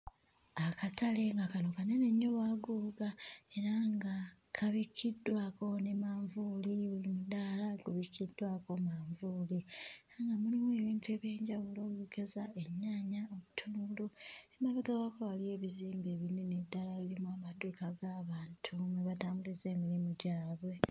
Akatale nga kano kanene nnyo bwaguuga era nga kabikkiddwako ne manvuuli, buli mudaala gubikkiddwako manvuuli era nga mulimu ebintu eby'enjawulo okugeza, ennyaanya obutungulu. Emabega waako waliyo ebizimbe ebinene ddala ebirimu amaduuka g'abantu mwe batambuliza emirimu gyabwe.